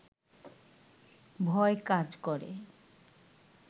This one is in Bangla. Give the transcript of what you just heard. ভয় কাজ করে